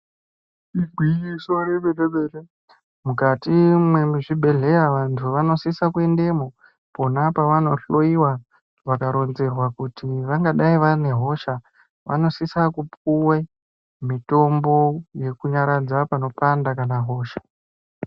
Igwinyiso yemene mene kuti mukati mwezvibhedhleya vantu vanosisa kuendemwo pona pavanohloyiwa vakaronzerwa kuti vangadai vane hosha vanosise kupuwe mitombo yekunyaradza panopanda kana hosha.